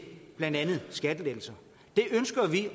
blandt andet skattelettelser det ønsker vi